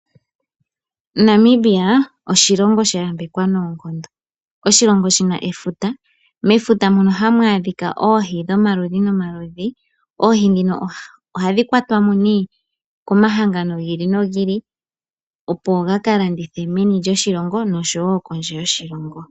Namibia oshilongo sha yambekwa nawa. Oshilongo shina efuta ,mefuta mono ha mu adhika oohi dhomaludhi nomaludhi. Oohi ndhino oha dhi kwatwamo komahangano gi ili no gi ili opo ga kalandithe meni lyoshilongo oshowo kondje yoshilongo